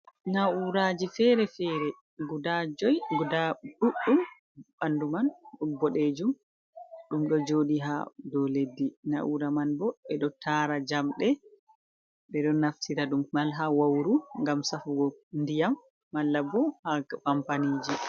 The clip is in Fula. Na'uraji fere-fere guda joi guda ɗuɗdum bandu man ɗum ɓoɗejum ɗum ɗo joɗi ha dow leddi, na'ura man bo ɓeɗo tara jamɗe ɓeɗo naftira dum man ha wauru ngam safugo ndiyam mallabo ha kampaniji.